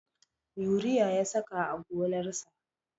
Yuriya ya saka a gonarsa